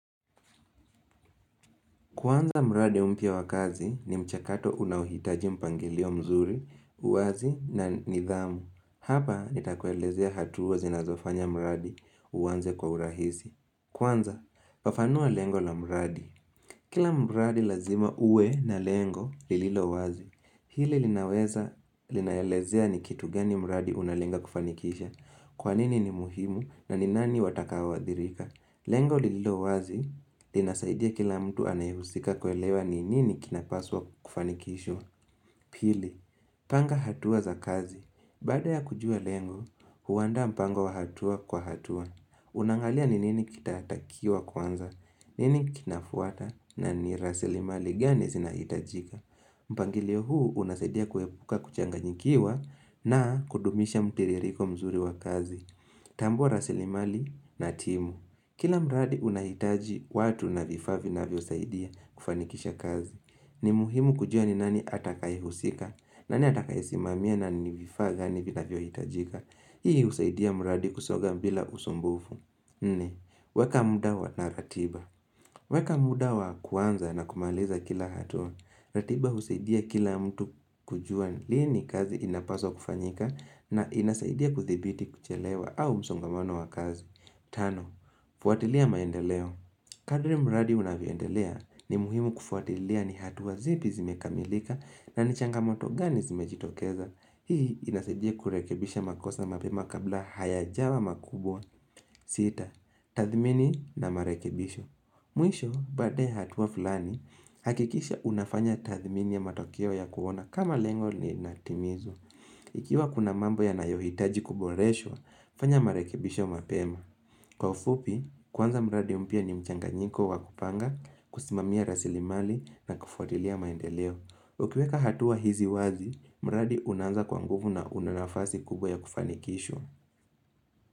Kwanza mradi mpya wa kazi ni mchakato unaohitaji mpangilio mzuri, uwazi na nidhamu. Hapa nitakuelezea hatua zinazofanya mradi uanze kwa urahisi. Kwanza, fafanua lengo la mradi. Kila mradi lazima uwe na lengo lililo wazi. Hili linaweza linaelezea ni kitu gani mradi unalenga kufanikisha. Kwanini ni muhimu na ni nani watakao adhirika. Lengo lililo wazi, linasaidia kila mtu anayehusika kuelewa ni nini kinapaswa kufanikishwa. Pili, panga hatua za kazi. Baada ya kujua lengo, huandaa mpango wa hatua kwa hatua. Unaangalia ni nini kitatakiwa kwanza. Nini kinafuata na ni rasilimali gani zinahitajika. Mpangilio huu unasaidia kuepuka kuchanganyikiwa na kudumisha mtiririko mzuri wa kazi. Tambua rasilimali na timu. Kila mradi unahitaji watu na vifaa vinavyosaidia kufanikisha kazi. Ni muhimu kujua ni nani atakaehusika, nani atakaesimamia na ni vifaa gani vinavyohitajika. Hii usaidia mradi kusoga bila usumbufu. Ni, weka muda wa na ratiba. Weka muda wa kuanza na kumaliza kila hatua. Ratiba usaidia kila mtu kujua lini kazi inapaswa kufanyika na inasaidia kudhibiti kuchelewa au msongamono wa kazi. Tano, fuatilia maendeleo. Kadri mradi unavyoendelea ni muhimu kufuatilia ni hatua zipi zimekamilika na ni changamoto gani zimejitokeza. Hii inasidia kurekebisha makosa mapema kabla hayajawa makubwa sita, tadhmini na marekebisho Mwisho, baada ya hatua fulani, hakikisha unafanya tadhmini ya matokeo ya kuona kama lengo linatimizwa Ikiwa kuna mambo yanayohitaji kuboreshwa fanya marekebisho mapema Kwa ufupi, kuanza mradi mpya ni mchanganyiko wa kupanga, kusimamia rasilimali na kufuatilia maendeleo Ukiweka hatua hizi wazi, mradi unaanza kwa nguvu na una nafasi kubwa ya kufanikishwa.